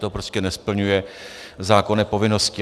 To prostě nesplňuje zákonné povinnosti.